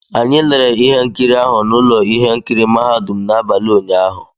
Anyị lerere ihe nkiri ahụ na ụlọ ihe nkiri mahadum n'abalị ụnyaahụ